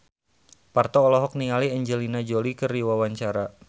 Parto olohok ningali Angelina Jolie keur diwawancara